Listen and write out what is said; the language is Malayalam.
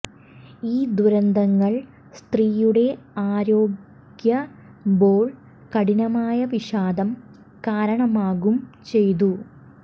ഈ ദുരന്തങ്ങൾ സ്ത്രീയുടെ ആരോഗ്യ മ്പോൾ കഠിനമായ വിഷാദം കാരണമാകും ചെയ്തു